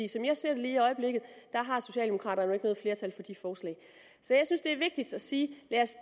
som jeg ser det lige i øjeblikket har socialdemokraterne jo ikke noget flertal for de forslag så jeg synes det er vigtigt at sige lad os